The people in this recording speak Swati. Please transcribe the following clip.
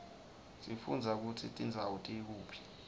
sifundza kutsi tindzawo tikuphi